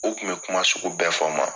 U kun bɛ kuma sugu bɛɛ fɔ n ma.